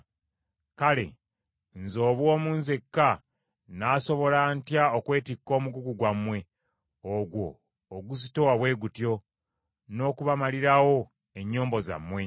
Kale, nze obw’omu nzekka nnaasobola ntya okwetikka omugugu gwammwe ogwo oguzitowa bwe gutyo, n’okubamalirawo ennyombo zammwe?